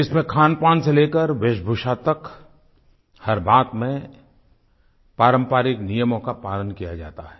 जिसमें खानपान से लेकर वेशभूषा तक हर बात में पारंपरिक नियमों का पालन किया जाता है